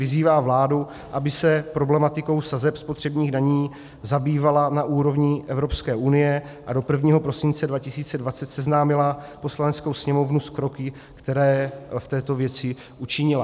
Vyzývá vládu, aby se problematikou sazeb spotřebních daní zabývala na úrovni Evropské unie a do 1. prosince 2020 seznámila Poslaneckou sněmovnu s kroky, které v této věci učinila."